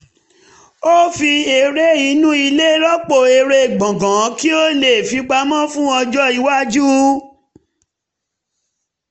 ó fi eré inú ilé rọ́pò eré gbọ̀ngàn kí ó lè fipamọ́ fún ọjọ́ iwájú